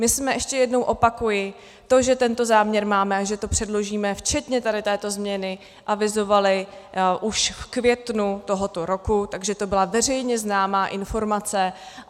My jsme, ještě jednou opakuji, to, že tento záměr máme a že to předložíme včetně tady této změny, avizovali už v květnu tohoto roku, takže to byla veřejně známá informace.